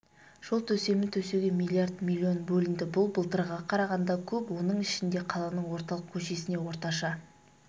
жол төсемін төсеуге миллиард миллион бөлінді бұл былтырғыға қарағанда көп оның ішінде қаланың орталық көшесіне орташа